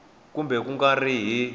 kumbe ku nga ri hi